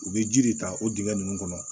U bɛ ji de ta o dingɛ nun kɔnɔ